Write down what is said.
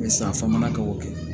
a famana ka o kɛ